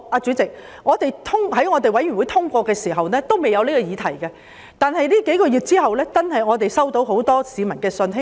主席，法案委員會通過《條例草案》時，還未有這個議題，但這數個月期間，我們接獲很多市民的信件。